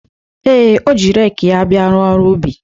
Ee, o ji reekị ya bịa rụọ ọrụ ubi.